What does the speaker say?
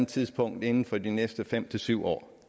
tidspunkt inden for de næste fem syv år